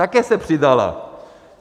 Také se přidala.